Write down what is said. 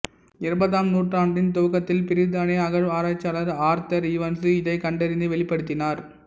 இருபதாம் நூற்றாண்டின் துவக்கத்தில் பிரித்தானிய அகழ்வாராய்ச்சியாளர் ஆர்தர் ஈவான்சு இதைக் கண்டறிந்து வெளிப்படுத்தினார்